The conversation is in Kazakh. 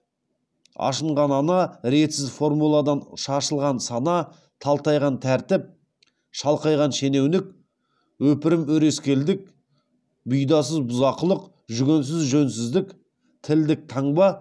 ашынған ана ретсіз реформалаудан шашылған сана талтайған тәртіп шалқайған шенеунік өпірім өрескелдік бұйдасыз бұзақылық жүгенсіз жөнсіздік тілдік таңба